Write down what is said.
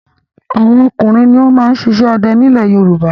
Àwọn ọkùnrin ló máa ń ṣiṣẹ́ ọdẹ ní ilẹ̀ Yorùbá.